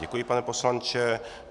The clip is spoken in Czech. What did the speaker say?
Děkuji, pane poslanče.